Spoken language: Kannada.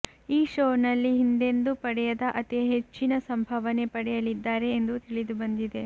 ಈ ಶೋ ನಲ್ಲಿ ಹಿಂದೆಂದೂ ಪಡೆಯದ ಅತಿ ಹೆಚ್ಚಿನ ಸಂಭಾವನೆ ಪಡೆಯಲಿದ್ದಾರೆ ಎಂದು ತಿಳಿದು ಬಂದಿದೆ